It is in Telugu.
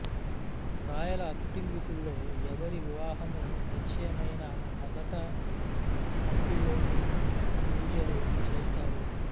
రాయల కుటుంబీకుల్లో ఎవరి వివాహం నిశ్చయమైనా మొదట హంపిలోనే పూజలు చేస్తారు